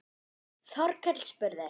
Þorkell spurði